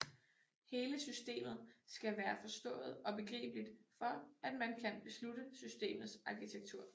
Hele systemet skal være forstået og begribeligt for at man kan beslutte systemets arkitektur